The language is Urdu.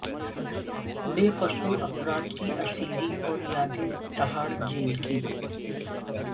بے قصور افراد کی اسیری اور یادیں تہاڑ جیل کی